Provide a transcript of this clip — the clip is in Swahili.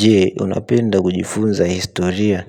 Je, unapenda kujifunza historia?